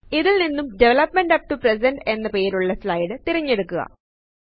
ഇതിൽ നിന്നും development up to present എന്ന പേരുള്ള സ്ലയ്ദു തിരഞ്ഞെടുക്കുക